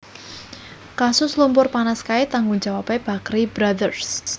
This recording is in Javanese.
Kasus lumpur panas kae tanggung jawabe Bakrie Brothers